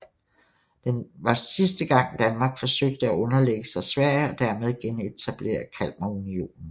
Den var sidste gang Danmark forsøgte at underlægge sig Sverige og dermed genetablere Kalmarunionen